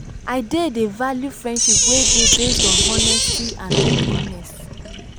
i dey dey value friendship wey dey based on honesty and openness.